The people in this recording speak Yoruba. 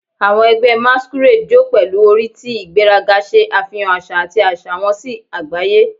"Awọn ẹgbẹ masquerade jó pẹlu ori ti igberaga, ṣe afihan aṣa ati aṣa wọn si agbaye. "